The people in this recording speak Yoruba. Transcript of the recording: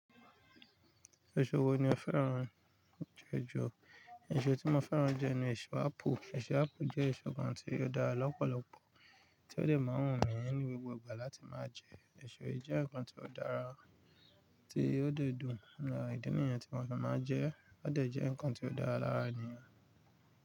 Èso wo ni o féràn jù ẹjọ́? Èso tí mo féràn jẹ́ ẹnu èso ápù. Èso ápù jẹ́ èso kan tí ó dára lọ́pọ̀lọpọ̀ tí ó dẹ̀ ma wumí ni gbogbo ìgbà láti máa jẹ. Èso yìí jẹ́ ǹkan tí ó dára tí ó dẹ dùn ìdí nìyẹn tí mo fì máa ń jẹ ẹ́. Ó dẹ̀ jẹ ǹkan tí ó dára lára nìyẹn.